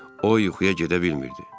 O yuxuya gedə bilmirdi.